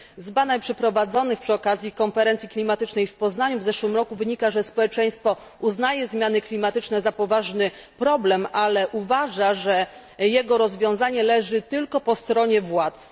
Z badań przeprowadzonych przy okazji konferencji klimatycznej w Poznaniu w zeszłym roku wynika, że społeczeństwo uznaje zmiany klimatyczne za poważny problem, ale uważa, że jego rozwiązanie leży tylko po stronie władz.